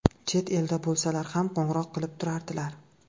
Chet elda bo‘lsalar ham qo‘ng‘iroq qilib turardilar.